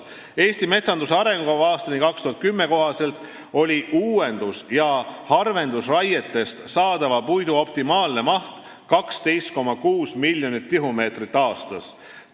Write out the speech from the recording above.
"Eesti metsanduse arengukava aastani 2010" kohaselt oli uuendus- ja harvendusraietest saadava puidu optimaalne maht 12,6 miljonit tihumeetrit aastas.